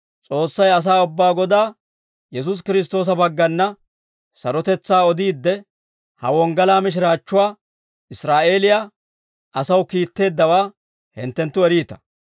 S'oossay asaa ubbaa Godaa, Yesuusi Kiristtoosa baggana, sarotetsaa odiidde, ha wonggalaa mishiraachchuwaa Israa'eeliyaa asaw kiitteeddawaa hinttenttu eriita.